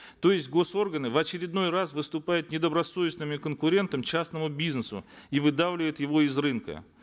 то есть госорганы в очередной раз выступают недобросовестными конкурентами частному бизнесу и выдавливают его из рынка